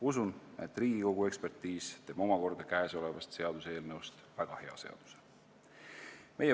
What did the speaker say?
Usun, et Riigikogu ekspertiis teeb omakorda käesolevast seaduseelnõust väga hea seaduse.